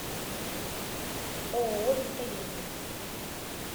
ооо виталена